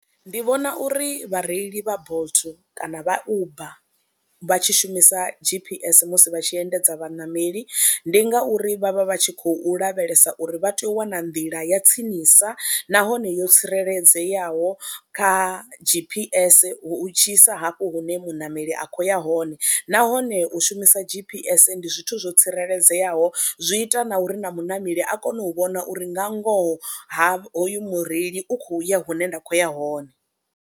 Ndi vhona uri vhareili vha Bolt kana vha Uber vha tshi shumisa G_P_S musi vha tshi endedza vhaṋameli ndi ngauri vha vha vha tshi khou lavhelesa uri vha tea u wana nḓila ya tsinisa nahone yo tsireledzeaho kha G_P_S hu tshi isa hafho hune muṋameli a khou ya hone, nahone u shumisa G_P_S ndi zwithu zwo tsireledzeaho, zwi ita na uri na muṋameli a kone u vhona uri nga ngoho ha hoyu mureili u khou ya hune nda khou ya hone.